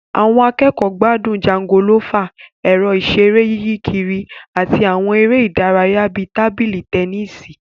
Àwọn akẹ́kọ̀ọ́ gbádùn jangolófà, ẹ̀rọ ìṣeré yíyí kiri, àti àwọn eré ìdárayá bíi tábìlì tẹnísì